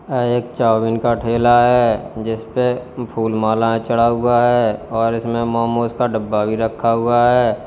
एक चाऊमीन का ठेला है जिस पे फूलमालाएं चढ़ा हुआ है और इसमें मोमोस का डब्बा भी रखा हुआ है।